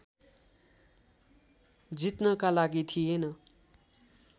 जित्नका लागि थिएन